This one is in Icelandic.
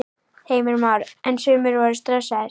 Heimir Már: En sumir voru stressaðir?